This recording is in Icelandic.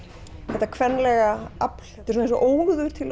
þetta kvenlega afl þetta er eins og óður til